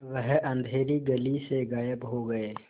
वह अँधेरी गली से गायब हो गए